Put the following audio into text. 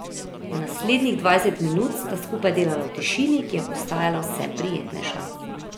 Naslednjih dvajset minut sta skupaj delala v tišini, ki je postajala vse prijetnejša.